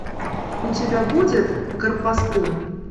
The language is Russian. у тебя будет гарпастум